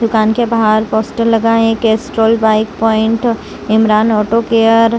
दुकान के बाहर पोस्टर लगा है Castrol bike point Imran auto care --